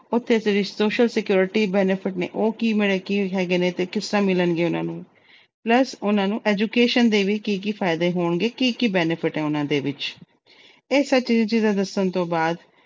ਉੱਥੇ ਜਿਹੜੇ social security benefit ਨੇ, ਉਹ ਕਿਵੇਂ ਅਹ ਕੀ ਹੈਗੇ ਨੇ ਤੇ ਕਿਸ ਤਰ੍ਹਾਂ ਮਿਲਣਗੇ ਉਹਨਾਂ ਨੂੰ। plus ਉਹਨਾਂ ਨੂੰ education ਦੇ ਕੀ-ਕੀ ਫਾਇਦੇ ਹੋਣਗੇ, ਕੀ benefit ਨੇ। ਇਹ ਸਭ ਜ਼ਰੂਰੀ ਚੀਜਾਂ ਦੱਸਣ ਤੋਂ ਬਾਅਦ